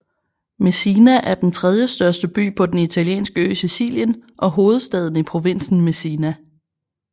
Messina er den tredjestørste by på den italienske ø Sicilien og hovedstaden i provinsen Messina